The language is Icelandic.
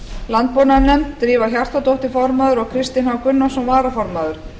landbúnaðarnefnd drífa hjartardóttir formaður og kristinn h gunnarsson varaformaður